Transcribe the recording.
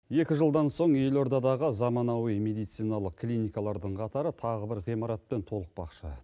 екі жылдан соң елордадағы замануи медициналық клиникалардың қатары тағы бір ғимаратпен толықпақшы